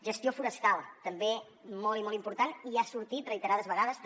gestió forestal també molt i molt important i ha sortit reiterades vegades també